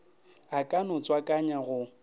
a ka no tswakanya go